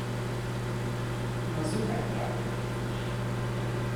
Na zunaj, pravim.